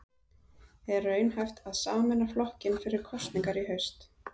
Er raunhæft að sameina flokkinn fyrir kosningar í haust?